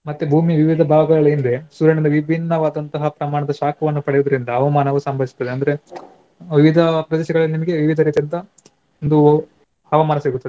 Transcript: ಮತ್ತೆ ಭೂಮಿ ವಿವಿಧ ಭಾಗಗಳು ಏನಿದೆ ಸೂರ್ಯನಿಂದ ವಿಭಿನ್ನವಾದಂತಹ ಪ್ರಮಾಣದ ಶಾಖವನ್ನು ಪಡೆಯುವುದರಿಂದ ಹವಾಮಾನವು ಸಂಭವಿಸ್ತದೆ ಅಂದ್ರೆ ವಿವಿಧ ಪ್ರದೇಶಗಳಲ್ಲಿ ನಿಮ್ಗೆ ವಿವಿಧ ರೀತಿಯಾದಂತಹ ಒಂದು ಹವಾಮಾನ ಸಿಗುತ್ತದೆ.